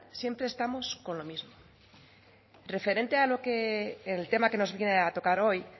siempre estamos con lo mismo referente al tema que nos viene a tocar hoy